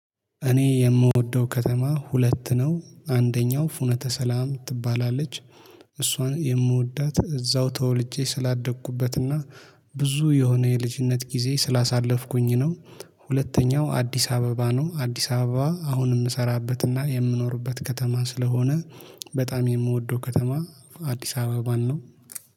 እኔ የምወደው ከተማ ሁለት ነው አንደኛው ፍኖተ ሰላም ትባላለች እሷን የምወዳት እዛው ተወልጄ ስላደግኩበትና ብዙ የሆነ የልጅነት ጊዜ ስላሳለፍኩኝ ነው። ሁለተኛው አዲስ አበባ ነው አዲስ አበባ አሁን የምሰራበትና የምኖርበት ከተማ ስለሆነ በጣም የምወደው ከተማ አዲስ አበባን ነው